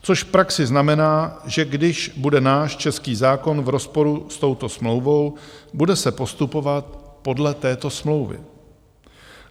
Což v praxi znamená, že když bude náš český zákon v rozporu s touto smlouvou, bude se postupovat podle této smlouvy.